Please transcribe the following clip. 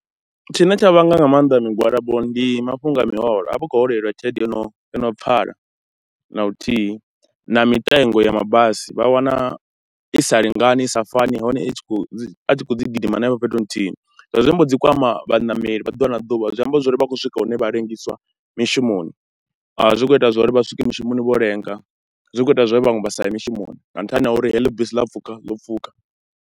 Tshine tsha vhangwa nga maanḓa migwalabo ndi mafhungo a miholo, a vha khou holeliwa tshelede yo no yo no pfhala na luthihi na mitengo ya mabasi vha wana i sa lingani, i sa fani nahone i tshi khou, dzi a tshi khou ḓi gidima hanefho fhethu huthihi. Zwi vha zwi amba dzi kwama vhaṋameli vha ḓuvha na ḓuvha, zwi amba zwo ri vha khou swika hune vha ḽengisa mishumoni, zwi khou ita zwa uri vha swike mishumoni vho lenga, zwi khou ita zwa uri vhaṅwe vha sa ye mishumoni nga nṱhani ha uri heḽi bisi ḽa pfhukha ḽo pfhukha.